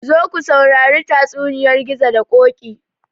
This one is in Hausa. Zo ku sauri tatsuniyar gizo da ƙoƙi